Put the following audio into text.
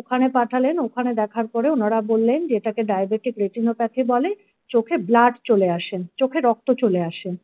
ওখানে পাঠালেন ওখানে দেখার পরে ওনারা বললেন যে এটাকে ডায়াবেটিক রেটিনোপথী বলে চোখে blood চলে আসে চোখে রক্ত চলে আসে ।